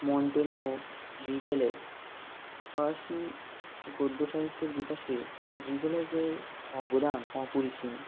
Montaigne Rabelais ফরাসি গদ্য সাহিত্যের বিকাশে রিবেলেজের অবদান অপরিসীম